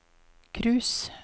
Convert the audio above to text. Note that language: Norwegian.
cruise